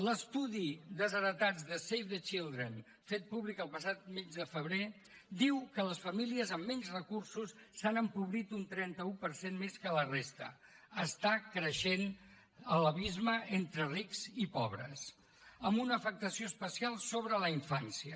l’estudi desheretats de save the children fet públic el passat mes de febrer diu que les famílies amb menys recursos s’han empobrit un trenta un per cent més que la resta està creixent l’abisme entre rics i pobres amb una afectació especial sobre la infància